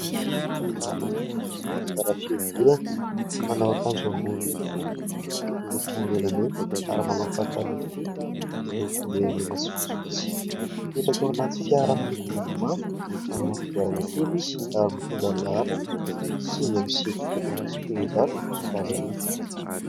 Lehilahy anankiray zarazara fihodirana, manao akanjo ambony fohy miloko menamena ary manao pataloha fohy miloko menamena sy fotsifotsy. Mipetraka ao anaty fiara miloko mavomavo manana kodiarana telo izy ary mitondra ny laharana sivy amby sivifolo sy telonjato sy valo arivo.